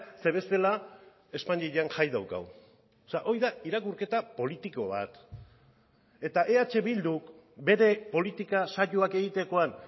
ze bestela espainian jai daukagu hori da irakurketa politiko bat eta eh bilduk bere politika saioak egitekoan